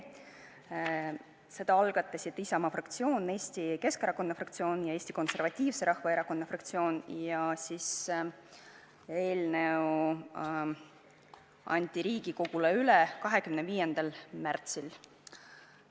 Selle algatasid Isamaa fraktsioon, Eesti Keskerakonna fraktsioon ja Eesti Konservatiivse Rahvaerakonna fraktsioon, eelnõu anti Riigikogule üle 25. märtsil.